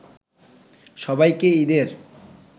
সবাইকে ঈদের